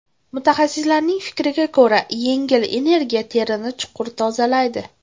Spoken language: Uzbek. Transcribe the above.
Mutaxassislarning fikriga ko‘ra, yengil energiya terini chuqur tozalaydi.